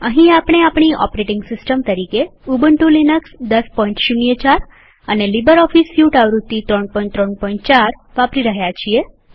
અહીં આપણે આપણી ઓપરેટિંગ સિસ્ટમ તરીકે ઉબન્ટુ લિનક્સ ૧૦૦૪ અને લીબરઓફીસ સ્યુટ આવૃત્તિ ૩૩૪ વાપરી રહ્યા છીએ